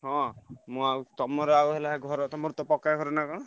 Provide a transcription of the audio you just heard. ହଁ ମୁଁ ଆଉ ତମର ଆଉ ହେଲା ଘର ତମର ତ ପକ୍କା ଘର ନା କଣ?